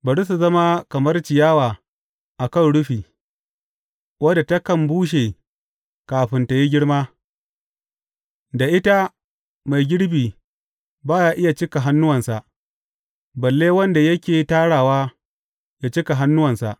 Bari su zama kamar ciyawa a kan rufi, wadda takan bushe kafin tă yi girma; da ita mai girbi ba ya iya cika hannuwansa, balle wanda yake tarawa yă cika hannuwansa.